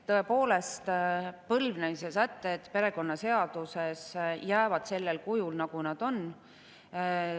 Tõepoolest, põlvnemise sätted perekonnaseaduses jäävad alles sellel kujul, nagu nad on.